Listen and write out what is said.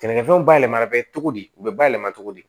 Sɛnɛkɛfɛnw bayɛlɛmali bɛ cogo di u bɛ bayɛlɛma cogo di